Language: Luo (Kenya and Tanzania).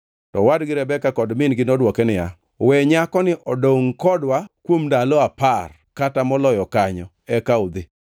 To owad gi Rebeka kod min-gi nodwoke niya, “We nyakoni odongʼ kodwa kuom ndalo apar kata moloyo kanyo; eka udhi.”